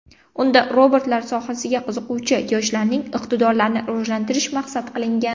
Unda robotlar sohasiga qiziquvchi yoshlarning iqtidorlarini rivojlantirish maqsad qilingan.